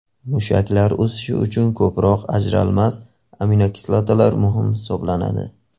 Mushaklar o‘sishi uchun ko‘proq ajralmas aminokislotalar muhim hisoblanadi.